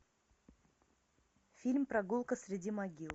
фильм прогулка среди могил